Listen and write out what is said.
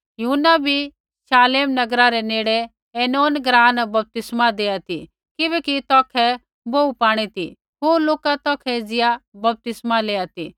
यूहन्ना भी शालेम नगर रै नेड़े ऐनोन ग्राँ न बपतिस्मा देआ ती किबैकि तौखै बोहू पाणी ती होर लोका तौखै एज़िया बपतिस्मा लेआ ती